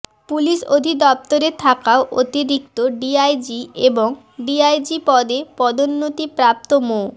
police অধিদপ্তরে থাকা অতিরিক্ত ডিআইজি এবং ডিআইজি পদে পদোন্নতিপ্রাপ্ত মো